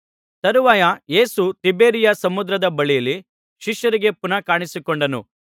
ತರುವಾಯ ಯೇಸು ತಿಬೇರಿಯ ಸಮುದ್ರದ ಬಳಿಯಲ್ಲಿ ಶಿಷ್ಯರಿಗೆ ಪುನಃ ಕಾಣಿಸಿಕೊಂಡನು